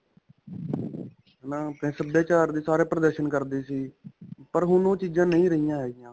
ਹੈ ਨਾ. ਆਪਣੇ ਸਭਿਆਚਾਰ ਦੀ ਸਾਰੇ ਪ੍ਰਦਰ੍ਸ਼ਨ ਕਰਦੇ ਸੀ, ਪਰ ਹੁਣ ਓਹ ਚੀਜ਼ਾ ਨਹੀਂ ਰਹਿਆ ਹੈਗੀਆ .